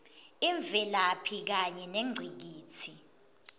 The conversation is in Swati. imvelaphi kanye nengcikitsi